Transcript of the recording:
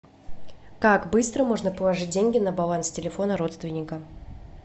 как быстро можно положить деньги на баланс телефона родственника